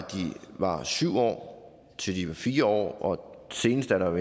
var på syv år til de blev på fire år senest er der